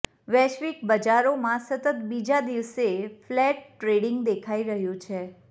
વૈશ્વિક બજારોમાં સતત બીજા દિવસે ફ્લેટ ટ્રેડિંગ દેખાઈ રહ્યું છે